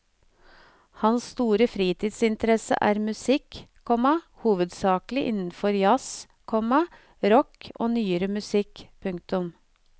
Hans store fritidsinteresse er musikk, komma hovedsakelig innenfor jazz, komma rock og nyere musikk. punktum